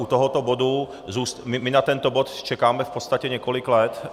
U tohoto bodu, my na tento bod čekáme v podstatě několik let.